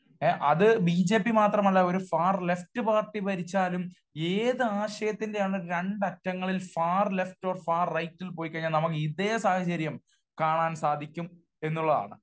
അത് B J P മാത്രമല്ല ഒരു ഫാർ ലെഫ്റ്റ് പാർട്ടി ഭരിച്ചാലും ഏത് ആശയത്തിന്റെ ആണേലും രണ്ടറ്റങ്ങളിൽ ഫാർ ലെഫ്റ്റ് ഓർ ഫാർ റൈറ്റിൽ പോയി കഴിഞ്ഞാൽ നമുക്ക് ഇതേ സാഹചര്യം കാണാൻ സാധിക്കും എന്നുള്ളതാണ്.